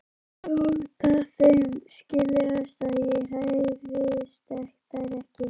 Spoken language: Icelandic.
Láta þeim skiljast að ég hræðist þær ekki.